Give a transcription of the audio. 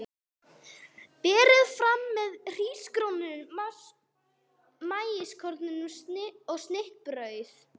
Berið fram með hrísgrjónum, maískornum og snittubrauði.